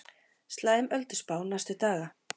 Slæm ölduspá næstu daga